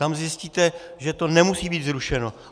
Tam zjistíte, že to nemusí být zrušeno.